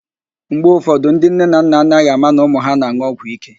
Mgbe ụfọdụ, ndị nne na nna agaghị ama na ụmụ ha na-an̄ụ ọgwụíké